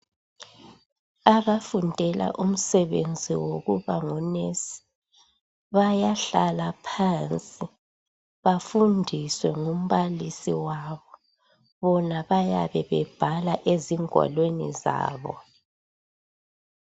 Abafundela umsebenzi wokuba ngunesi bayahlala phansi bafundiswe ngumbalisi wabo bona bayabe bebhala ezingwalweni zabo.